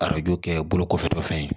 Arajo kɛ bolo kɔfɛtɔ fɛn ye